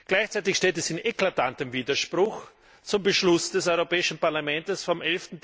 Gleichzeitig steht es in eklatantem Widerspruch zum Beschluss des Europäischen Parlaments vom